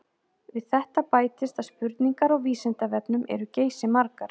Við þetta bætist að spurningar á Vísindavefnum eru geysimargar.